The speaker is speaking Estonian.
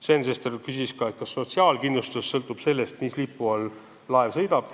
Sven Sester küsis ka, kas sotsiaalkindlustus sõltub sellest, mis lipu all laev sõidab.